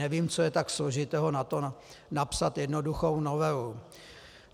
Nevím, co je tak složitého na tom, napsat jednoduchou novelu.